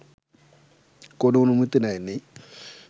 কোন অনুমতি নেয় নি